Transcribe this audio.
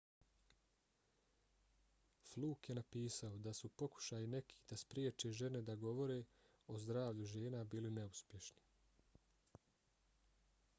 fluke je napisao da su pokušaji nekih da spriječe žene da govore o zdravlju žena bili neuspješni